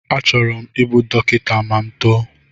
Achọrọ m ịbụ dọkịta ma m too